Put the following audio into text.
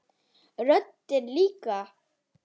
Röddin líka.